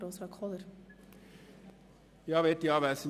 Kommissionspräsident der GSoK.